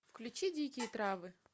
включи дикие травы